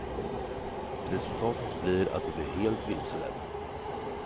Resultatet blir att du blir helt vilseledd.